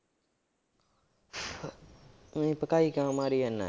ਊਈਂ ਭਕਾਈ ਕਿਉਂ ਮਾਰੀ ਜਾਨਾ।